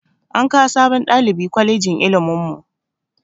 An kawo sabon ɗalibi kwalejin ilimin mu